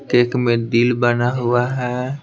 Cake में दिल बना हुआ है।